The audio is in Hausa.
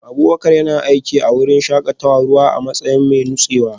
Abubakar yana aiki a wurin shakatawar ruwa a matsayin mai nutsewa